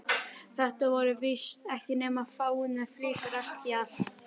Þetta voru víst ekki nema fáeinar flíkur allt í allt.